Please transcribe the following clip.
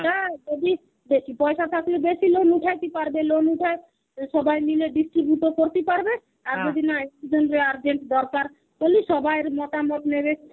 বেশী. পয়সা থাকলে বেশী loan উঠায়তি পারবে loan উঠায় সবাই মিলে distribute ও করতি পারবে আর যদি নায় urgent দরকার তাহলি সবার মতামত নেবে